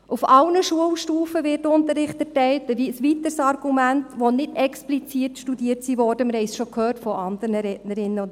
Ein weiteres Argument: Auf allen Schulstufen wird Unterricht erteilt in Fächern, die nicht explizit studiert wurden, besonders auf der Sekundarstufe I;